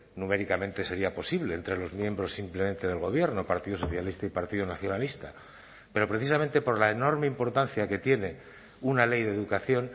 numéricamente sería posible entre los miembros simplemente del gobierno partido socialista y partido nacionalista pero precisamente por la enorme importancia que tiene una ley de educación